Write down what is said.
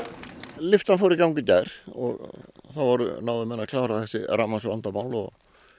lyftan fór í gang í gær þá náðu menn að klára þessi rafmagnsvandamál og